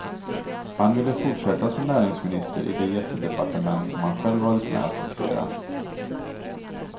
Han ville fortsätta som näringsminister i det jättedepartement som han själv varit med att skissera.